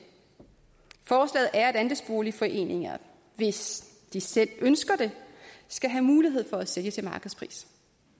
forslaget er at andelsboligforeninger hvis de selv ønsker det skal have mulighed for at sælge til markedspris